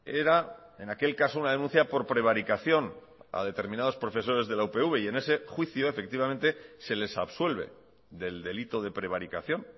era en aquel caso una denuncia por prevaricación a determinados profesores de la upv y en ese juicio efectivamente se les absuelve del delito de prevaricación